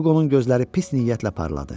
Hüqonun gözləri pis niyyətlə parladı.